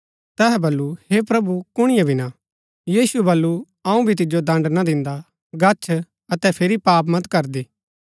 तैहै वलु हे प्रभु कुणिए भी ना यीशुऐ वलु अऊँ भी तिजो दण्ड़ ना दिन्दा गच्छ अतै फिरी पाप मत करदी]